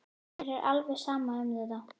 Mér er alveg sama um þetta.